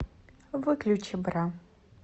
выключи бра